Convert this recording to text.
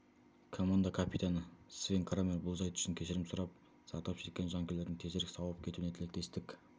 команда капитаны свен крамер бұл жайт үшін кешірім сұрап зардап шеккен жанкүйерлердің тезірек сауығып кетуіне тілектестік